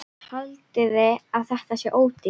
Haldiði að þetta sé ódýrt?